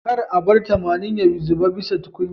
Kar a bar tamanin ya zube bisa tukunyar